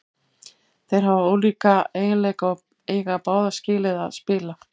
Þeir hafa ólíka eiginleika og eiga báðir skilið að spila.